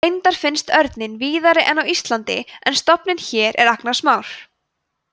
reyndar finnst örninn víðari en á íslandi en stofninn hér er agnarsmár